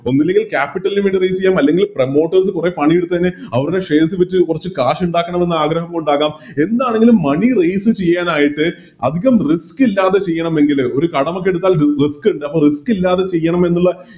ഒന്നെങ്കില് Capital ന് വേണ്ടി Raise ചെയ്യാം അല്ലെങ്കില് Promoters ചെയ്ത് കൊറേ പണി എടുത്തെന് അവരുടെ Shares വിറ്റ് കൊറച്ച് Cash ഉണ്ടാക്കണമെന്നാഗ്രഹമുണ്ടാകാം എന്താണെങ്കിലും Money raise ചെയ്യാനായിട്ട് അതികം Risk ഇല്ലാതെ ചെയ്യണമെങ്കില് ഒരു കടമൊക്കെയടുത്താൽ റ് Risk ഇണ്ട് അപ്പൊ Risk ഇല്ലാതെ ചെയ്യണമെന്നുള്ള